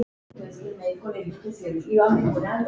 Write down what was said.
Sem þú komst með.